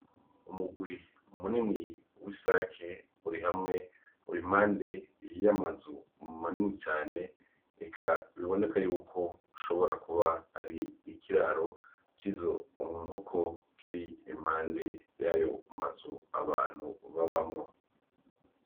Umugwi munini w'isake uri hamwe ur'impande y'amazu manini cane eka biboneka yuko ishobora kuba ar'ikiraro cizo nkoko kir'impande yayo mazu abantu babamwo.